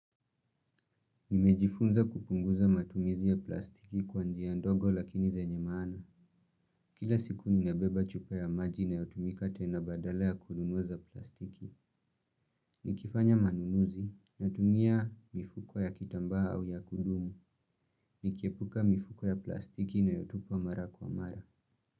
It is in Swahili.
Nimejifunza kupunguza matumizi ya plastiki kwa njia ndogo lakini zenye mana. Kila siku nina beba chupa ya maji nayotumika tena badala ya kununua za plastiki. Ni kifanya manunuzi natumia mifuko ya kitamba au ya kudumu. Nikiepuka mifuko ya plastiki nayotupa mara kwa mara.